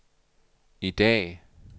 i dag